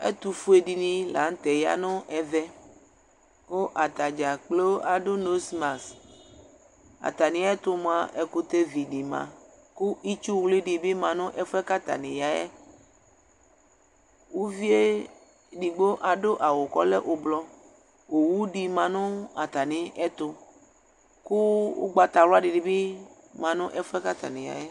ɛtufudini la nu tɛ aya nɛvɛ ku atadzagblo adu nozmas atamiɛtu ɛkutɛ vi di ma ku itsu ɣlui dibi yanu atamiɛtu uvi edigbo adu awu ku ɔlɛ ublui owu di ma nu atamidu kugbatawla dibi ya nu ɛfuɛ atani yayɛ